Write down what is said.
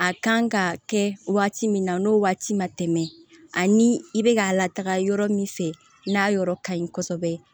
A kan ka kɛ waati min na n'o waati ma tɛmɛ ani i bɛ ka lataga yɔrɔ min fɛ n'a yɔrɔ ka ɲi kosɛbɛ